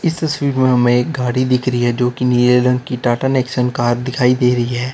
इस तस्वीर में हमें एक गाड़ी दिखरी है जो की नीले रंग की टाटा नेक्सन कार दिखाई दे रही है।